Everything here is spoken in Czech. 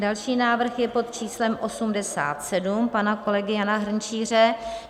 Další návrh je pod číslem 87 pana kolegy Jana Hrnčíře.